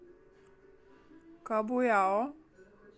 кабуйао